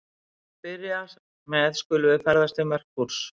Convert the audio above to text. Til að byrja með skulum við ferðast til Merkúrs.